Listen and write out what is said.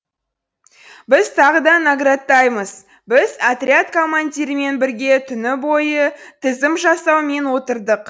біз тағы да наградтаймыз біз отряд командирымен бірге түні бойы тізім жасаумен отырдық